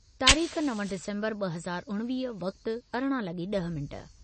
(तारीख़ नव डिसम्बर ॿ हज़ार उणवीह, वक़्तु अरिड़ा लॻी ॾह मिंट)